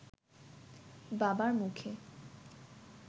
বাবার মুখে